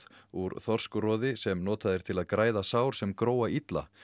úr þorskroði sem notað er til að græða sár sem gróa illa